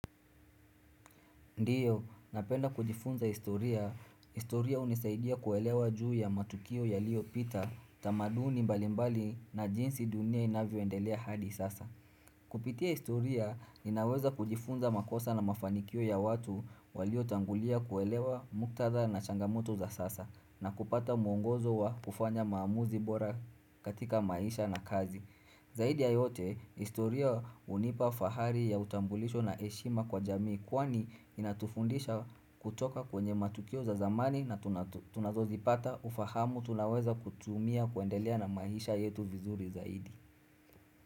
Ndio, napenda kujifunza historia. Historia unisaidia kuelewa juu ya matukio yalio pita, tamaduni mbalimbali na jinsi dunia inavyo endelea hadi sasa. Kupitia historia, ninaweza kujifunza makosa na mafanikio ya watu walio tangulia kuelewa muktatha na changamoto za sasa, na kupata muongozo wa kufanya maamuzi bora katika maisha na kazi. Zaidi ya yote, historia unipa fahari ya utambulisho na heshima kwa jamii kwani inatufundisha kutoka kwenye matukio za zamani na tunazozipata ufahamu tunaweza kutumia kuendelea na maisha yetu vizuri zaidi.